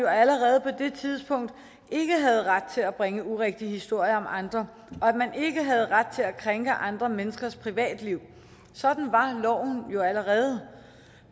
allerede på det tidspunkt ikke havde ret til at bringe urigtige historier om andre og at man ikke havde ret til at krænke andre menneskers privatliv sådan var loven jo allerede